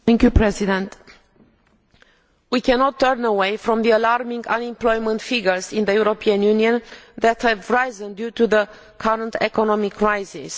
Mr President, we cannot turn away from the alarming unemployment figures in the European Union that have risen due to the current economic crisis.